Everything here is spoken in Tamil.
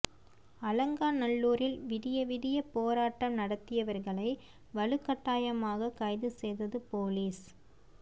அலங்காநல்லூரில் விடிய விடிய போராட்டம் நடத்தியவர்களை வலுக்கட்டாயமாக கைது செய்தது போலீஸ்